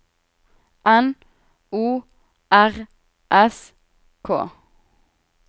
N O R S K